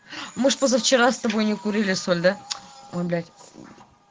мы ж позавчера с тобой не курили соль да ой блять мм